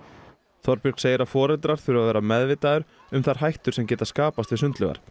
Þorbjörg segir að foreldrar þurfi að vera meðvitaðir um þær hættur sem geta skapast við sundlaugar